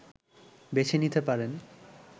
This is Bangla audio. বেছে নিতে পারেন